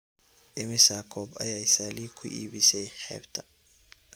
Immisa koob ayay sally ku iibisay xeebta?